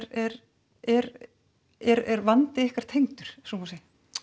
er er er vandi ykkar tengdur ef svo má segja